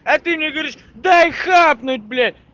а ты мне говоришь дай хапнуть блять